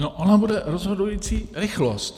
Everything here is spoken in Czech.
No ona bude rozhodující rychlost.